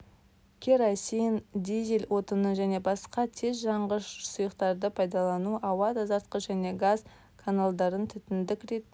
керосин дизель отының және басқа тезжанғш сұйықтарды пайдалану ауа тазартқыш және газ каналдарын түтіндік ретінде